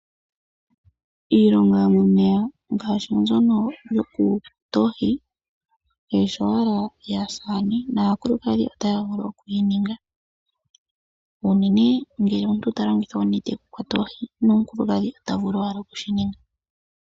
Iilongo yomomeya ngaashi mbyono yoku kwatala oohi kayi shi owala yaasaane, naakulukadhi otaya vulu okuyi ninga unene ngele omuntu talongitha onete okukwata oohi nomukulukadhi otavulu owala okushininga.